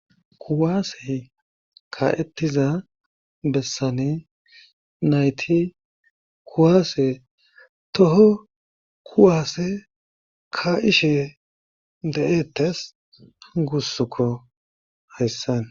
kuwaase ka'ettiza bessane nayti kuwaase toho kuwaase ka ishe de'ettes gussukko hayssan.